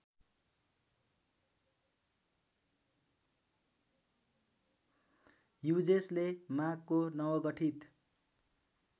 ह्युजेसले माँगको नवगठित